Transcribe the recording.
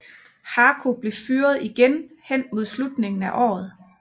Haku blev fyret igen hen mod slutningen af året